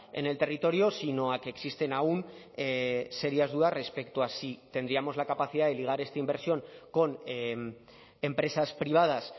en el territorio sino a que existen aun serias dudas respecto a si tendríamos la capacidad de ligar esta inversión con empresas privadas